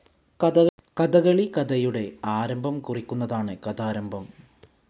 കഥകളി കഥയുടെ ആരംഭംകുറിക്കുന്നതാണ് കഥാരംഭം.